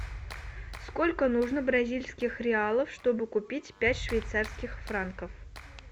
сколько нужно бразильских реалов чтобы купить пять швейцарских франков